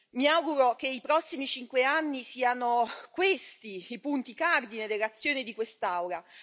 Mi auguro che nei prossimi 5 anni, siano questi i punti cardine dell'azione di quest'Aula.